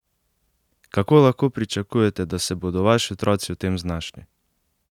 Kako lahko pričakujete, da se bodo vaši otroci v tem znašli?